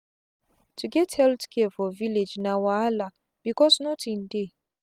to get healthcare for village na wahalabecause nothing dey.